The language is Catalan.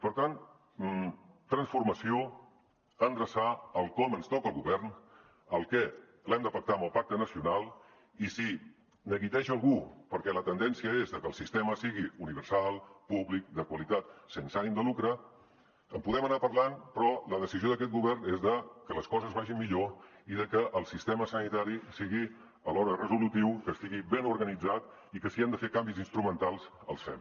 per tant transformació endreçar el com ens toca al govern el què l’hem de pactar amb el pacte nacional i si neguiteja algú perquè la tendència és de que el sistema sigui universal públic de qualitat sense ànim de lucre en podem anar parlant però la decisió d’aquest govern és que les coses vagin millor i que el sistema sanitari sigui alhora resolutiu que estigui ben organitzat i que si hem de fer canvis instrumentals els fem